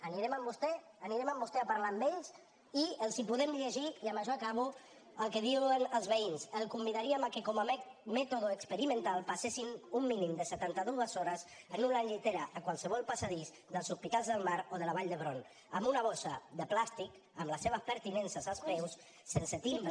anirem amb vostè anirem amb vostè a parlar amb ells i els podem llegir i amb això acabo el que diuen els veïns el convidaríem que com a mètode experimental passessin un mínim de setanta dues hores en una llitera a qualsevol passadís dels hospitals del mar o de la vall d’hebron amb una bossa de plàstic amb les seves pertinences als peus sense timbre